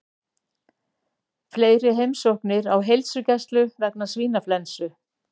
Fleiri heimsóknir á heilsugæslu vegna svínaflensu